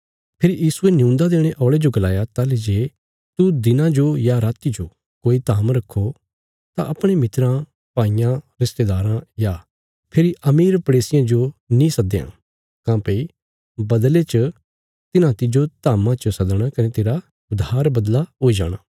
फेरी यीशुये नियून्दा देणे औल़े जो गलाया ताहली जे तू दिना जो या राति जो कोई धाम रखो तां अपणे मित्राँ भाईयां रिस्तेदाराँ या फेरी अमीर पड़ेसियां जो नीं सदयां काँह्भई बदले च तिन्हां तिज्जो धाम्मा पर सद्दणा कने तेरा उधार बदला हुई जाणा